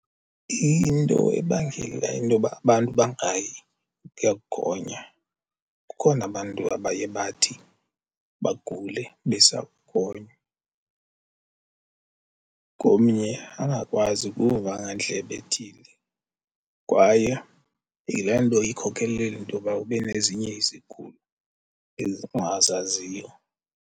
Into ebangela intoba abantu bangayi ukuya kugonya kukhona abantu abaye bathi bagule besakugonywa. Komnye angakwazi ukuva ngandlebe ethile kwaye yile nto ikhokhelele intoba ube nezinye izigulo ongazaziyo.